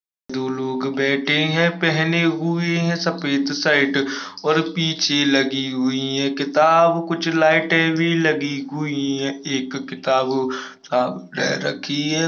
दो लोग बेठे हैं पहने हुए हैं सफेद शर्ट और पीछे लगी हुई हैं किताब कुछ लाइटे भी लगी हुई हैं एक किताब वो सामने रखी है।